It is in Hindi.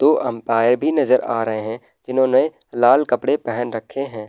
दो अम्पायर भी नजर आ रहे हैं जिन्होंने लाल कपड़े पहन रखे है।